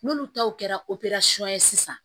N'olu taw kɛra ye sisan